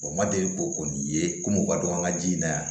O ma deli ko kɔni ye komi u ka don an ka ji in na yan